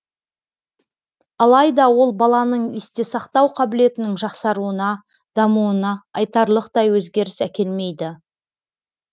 алайда ол баланың есте сақтау қабілетінің жақсаруына дамуына айтарлықтай өзгеріс әкелмейді